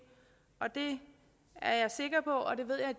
og det